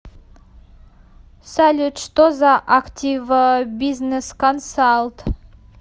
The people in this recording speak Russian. салют что за активбизнесконсалт